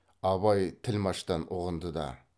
абай тілмаштан ұғынды да